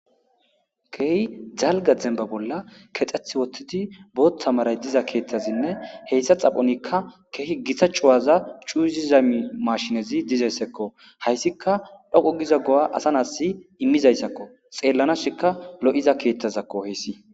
Keey jalga zemba bolla kexxeth wottidi boothta maray diza keeththazinne heyssa xaphonikka keehi gitta cuwaza cuuzi zami mashinezi dizeyssekko hayssika dhoqo giza go7a asa nasi immizayssakko xeellanashika lo7iza keethtazakko hessi